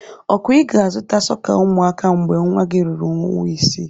Okwa ị ga-azụta sọka umuaka mgbe nwa gị ruru ọnwa isii?